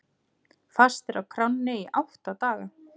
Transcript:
Fastir á kránni í átta daga